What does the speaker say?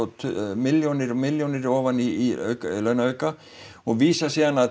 milljónir á milljónir ofan í launaauka og vísa svo